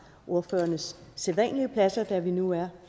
ordførernes sædvanlige pladser da vi nu er